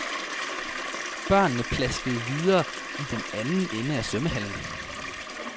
Børnene plaskede videre i den anden ende af svømmehallen.